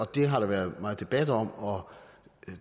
det har der været meget debat om og